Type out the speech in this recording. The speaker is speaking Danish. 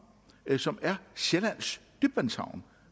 som er sjællands dybtvandshavn